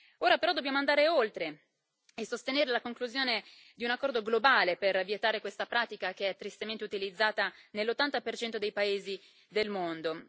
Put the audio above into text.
Ora però dobbiamo andare oltre e sostenere la conclusione di un accordo globale per vietare questa pratica, che è tristemente utilizzata nell'80 dei paesi del mondo.